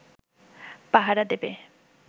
পাহারা দেবে